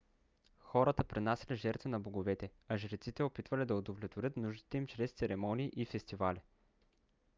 хората принасяли жертви на боговете а жреците опитвали да удовлетворят нуждите им чрез церемонии и фестивали